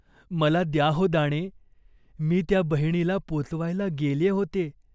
"मला द्या हो दाणे. मी त्या बहिणीला पोचवायला गेल्ये होत्ये.